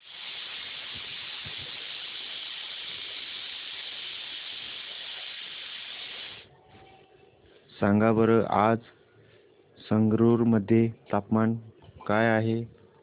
सांगा बरं आज संगरुर मध्ये तापमान काय आहे